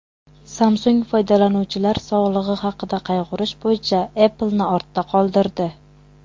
Samsung foydalanuvchilar sog‘lig‘i haqida qayg‘urish bo‘yicha Apple’ni ortda qoldirdi.